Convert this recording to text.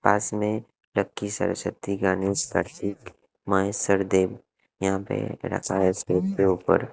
पास में ट्रक की सरस्वती गणेश आरती माय सर देवी यहां पर रखा है इसके ऊपर--